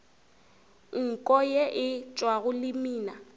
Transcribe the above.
nko ye e tšwago lemina